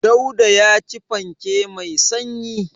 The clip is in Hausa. Dauda ya ci fanke mai sanyi.